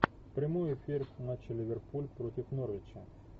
прямой эфир матча ливерпуль против норвича